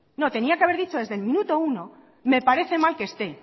no tenía que haber dicho desde el minuto uno me parece mal que esté